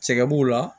Sɛgɛn b'o la